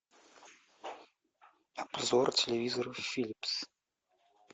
обзор телевизоров филипс